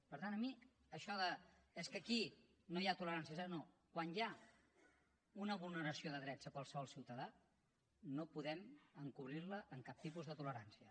per tant a mi això d’ és que aquí no hi ha tolerància zero no quan hi ha una vulneració de drets a qualsevol ciutadà no podem encobrir la amb cap tipus de tolerància